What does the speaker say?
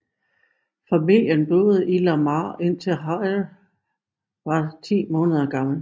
Familien boede i Lamar indtil Harry var ti måneder gammel